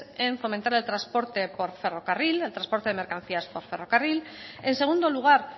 en fomentar el transporte por ferrocarril el transporte de mercancías por ferrocarril en segundo lugar